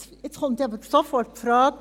Jetzt kommt sofort die Frage: